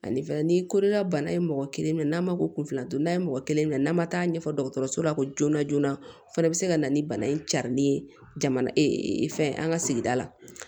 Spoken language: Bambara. Ani fɛnɛ ni kolola bana ye mɔgɔ kelen minɛ n'a ma ko kunfilan don n'a ye mɔgɔ kelen minɛ n'a ma taa ɲɛfɛ dɔgɔtɔrɔso la ko joona joona o fana bi se ka na ni bana in carilen jamana fɛn an ka sigida la